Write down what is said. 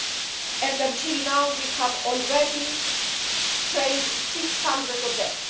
Up to now we have already trained 600 of them.